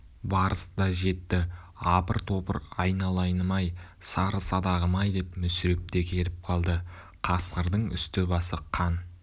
барыс та жетті апыр-топыр айналайыным-ай сары садағым-ай деп мүсіреп те келіп қалды қасқырдың үсті-басы қан